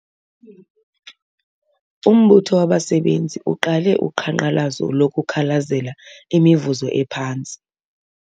Umbutho wabasebenzi uqale uqhankqalazo lokukhalazela imivuzo ephantsi.